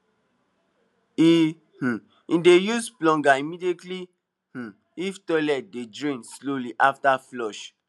he um dey use plunger immediately um if toilet dey drain slowly after flush